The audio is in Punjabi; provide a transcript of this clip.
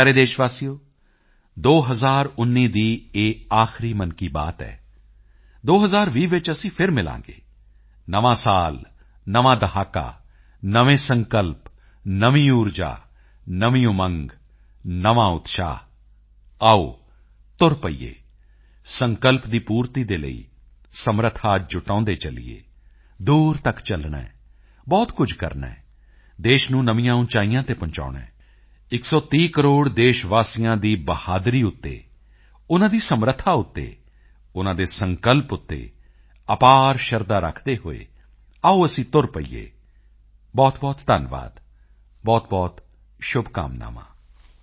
ਮੇਰੇ ਪਿਆਰੇ ਦੇਸ਼ਵਾਸੀਓ 2019 ਦੀ ਇਹ ਆਖਰੀ ਮਨ ਕੀ ਬਾਤ ਹੈ 2020 ਵਿੱਚ ਅਸੀਂ ਫਿਰ ਮਿਲਾਂਗੇ ਨਵਾਂ ਸਾਲ ਨਵਾਂ ਦਹਾਕਾ ਨਵੇਂ ਸੰਕਲਪ ਨਵੀਂ ਊਰਜਾ ਨਵੀਂ ਉਮੰਗ ਨਵਾਂ ਉਤਸ਼ਾਹ ਆਓ ਤੁਰ ਪਈਏ ਸੰਕਲਪ ਦੀ ਪੂਰਤੀ ਦੇ ਲਈ ਸਮਰੱਥਾ ਜੁਟਾਉਂਦੇ ਚੱਲੀਏ ਦੂਰ ਤੱਕ ਚੱਲਣਾ ਹੈ ਬਹੁਤ ਕੁਝ ਕਰਨਾ ਹੈ ਦੇਸ਼ ਨੂੰ ਨਵੀਆਂ ਉਚਾਈਆਂ ਤੇ ਪਹੁੰਚਾਉਣਾ ਹੈ 130 ਕਰੋੜ ਦੇਸ਼ਵਾਸੀਆਂ ਦੀ ਬਹਾਦਰੀ ਉੱਤੇ ਉਨ੍ਹਾਂ ਦੀ ਸਮਰੱਥਾ ਉੱਤੇ ਉਨ੍ਹਾਂ ਦੇ ਸੰਕਲਪ ਉੱਤੇ ਅਪਾਰ ਸ਼ਰਧਾ ਰੱਖਦੇ ਹੋਏ ਆਓ ਅਸੀਂ ਤੁਰ ਪਈਏ ਬਹੁਤਬਹੁਤ ਧੰਨਵਾਦ ਬਹੁਤਬਹੁਤ ਸ਼ੁਭਕਾਮਨਾਵਾਂ